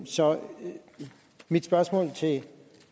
så mit spørgsmål til